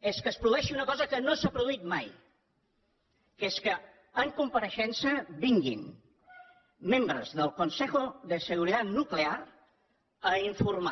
és que es produeixi una cosa que no s’ha produït mai que és que en compareixença vinguin membres del consejo de seguridad nuclear a informar